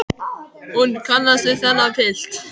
Hún kannast ekki við þennan pilt.